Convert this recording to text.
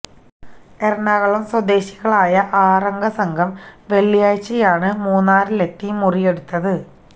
എറണാകുളം സ്വദേശികളായ ആറ് അംഗ സംഘം വെള്ളിയാഴ്ച്ചയാണ് മൂന്നാറിലെത്തി മുറിയെടുത്തത്